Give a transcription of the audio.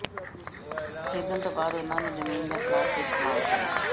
ਖਰੀਦਣ ਤੋਂ ਬਾਅਦ ਉਹਨਾਂ ਨੂੰ ਜ਼ਮੀਨ ਜਾਂ ਪਲਾਸ ਵਿੱਚ ਪਲਾਇਣ ਕਰੋ